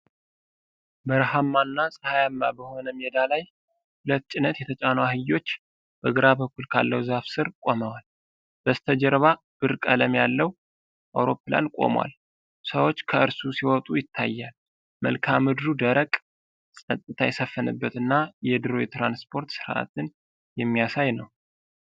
በረሃማና ፀሐያማ በሆነ ሜዳ ላይ ሁለት ጭነት የተጫኑ አህዮች በግራ በኩል ካለው ዛፍ ሥር ቆመዋል። በስተጀርባ ብር ቀለም ያለው አውሮፕላን ቆሟል፤ ሰዎች ከእርሱ ሲወጡም ይታያል። መልክአ ምድሩ ደረቅ፣ ፀጥታ የሰፈነበትና የድሮ የትራንስፖርት ሥርዓትን የሚያሳይ ነው።